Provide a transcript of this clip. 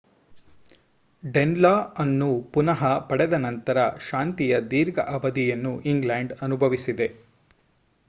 ಡೆನ್‌ಲಾ ಅನ್ನು ಪುನಃ ಪಡೆದ ನಂತರ ಶಾಂತಿಯ ದೀರ್ಘ ಅವಧಿಯನ್ನು ಇಂಗ್ಲೆಂಡ್‌ ಅನುಭವಿಸಿದೆ